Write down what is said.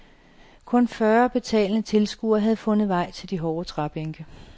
Kun fyrre betalende tilskuere havde fundet vej til de hårde træbænke.